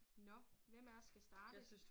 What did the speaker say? Nåh hvem af os skal starte?